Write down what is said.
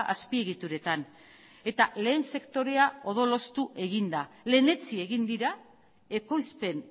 azpiegituretan eta lehen sektorea odolustu egin da lehenetsi egin dira ekoizpen